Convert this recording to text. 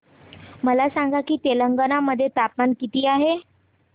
मला सांगा की तेलंगाणा मध्ये तापमान किती आहे